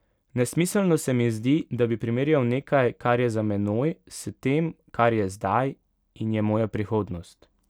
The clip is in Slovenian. Nesmiselno se mi zdi, da bi primerjal nekaj, kar je za menoj, s tem, kar je zdaj, in je moja prihodnost.